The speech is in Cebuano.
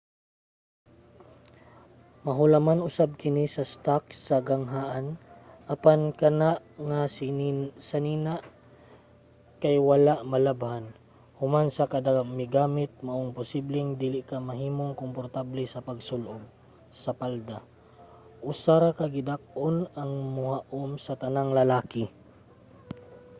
mahulaman usab kini sa stock sa ganghaan apan kana nga sanina kay wala malabhan human sa kada migamit maong posibleng dili ka mahimong komportable sa pagsul-ob sa palda. usa ra ka gidak-on ang mohaom sa tanang lalaki!